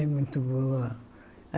É muito boa.